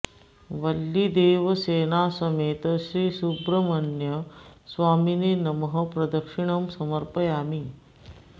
वल्लीदेवसेना समेत श्री सुब्रह्मण्य स्वामिने नमः प्रदक्षिणं समर्पयामि